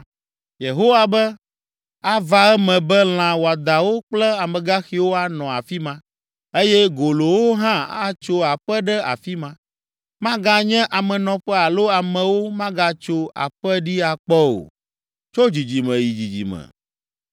Yehowa be, “Ava eme be lã wɔadãwo kple amegaxiwo anɔ afi ma, eye golowo hã atso aƒe ɖe afi ma. Maganye amenɔƒe alo amewo magatso aƒe ɖi akpɔ o, tso dzidzime yi dzidzime.